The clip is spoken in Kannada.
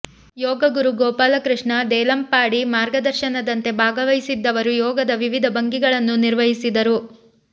ಯೋಗ ಗುರು ಗೋಪಾಲಕೃಷ್ಣ ದೇಲಂಪಾಡಿ ಮಾರ್ಗದರ್ಶನದಂತೆ ಭಾಗವಹಿಸಿದ್ದವರು ಯೋಗದ ವಿವಿಧ ಭಂಗಿಗಳನ್ನು ನಿರ್ವಹಿಸಿದರು